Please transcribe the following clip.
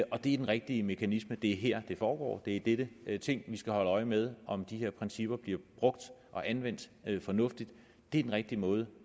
og det er den rigtige mekanisme det er her det foregår det er i dette ting vi skal holde øje med om de her principper bliver brugt og anvendt fornuftigt det er den rigtige måde